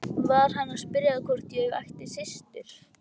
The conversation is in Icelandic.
Var hann að spyrja hvort ég ætti systur?